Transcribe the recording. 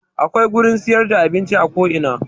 Akwai gurin siyar da abinci a ko ina